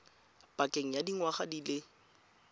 pakeng ya dingwaga di le